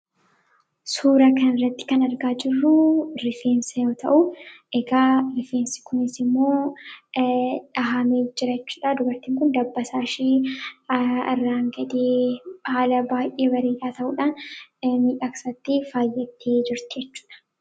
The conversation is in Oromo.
suura kan irratti kan argaa jirruu rifeensa yoo ta'u egaa rifeensa kunis immoo dhahamee jirachudhaa. dubarti kun dabasaa ishii irraan gadee ba'ee jiru kun baay'ee bareedaadha.